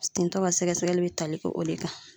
Tintɔ ka sɛgɛsɛgɛli bɛ tali k'o de kan.